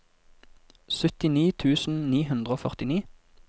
syttini tusen ni hundre og førtini